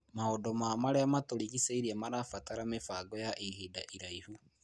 Maũndũ ma marĩa matũrigicĩirie marabatara mĩbango ya ihinda iraihu.